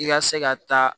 I ka se ka taa